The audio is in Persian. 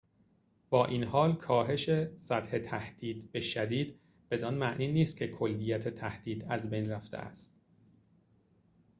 با این‌حال کاهش سطح تهدید به شدید بدان معنی نیست که کلیت تهدید از بین رفته است